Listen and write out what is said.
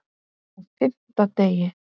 Á FIMMTA DEGI